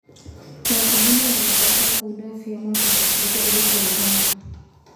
Wakulima wanapaswa kuunda vyama vya ushirika ili kuungana.